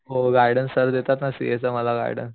हो guidance sir देतात ना मला सीए चा गाईडन्स